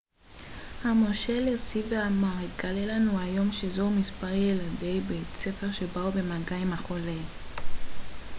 המושל הוסיף ואמר התגלה לנו היום שזוהו מספר ילדי בית ספר שבאו במגע עם החולה